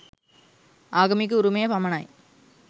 ආගමික උරුමය පමණයි